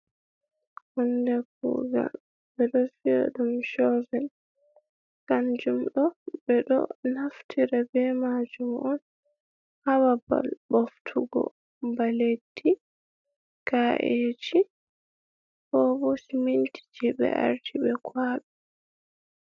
Hunde kugal ɓe ɗo viya ɗum chovel kanjum ɗo ɓe ɗo naftira be majum on hababal ɓoftugo ba leddi, ka’eji, ko bo siminti je ɓe arti be kwaɓi.